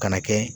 Kana kɛ